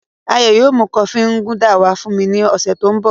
Ayo yóò mu kofi Nganda wa fun mi ni ọsẹ to nbọ.